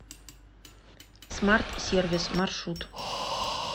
смартсервис маршрут